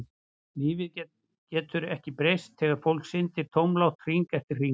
Lífið getur ekki breyst þegar fólk syndir tómlátt hring eftir hring.